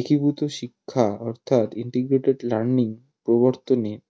একীভূত শিক্ষা অর্থাৎ integrated learning প্রবর্তনে